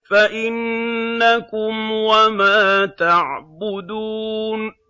فَإِنَّكُمْ وَمَا تَعْبُدُونَ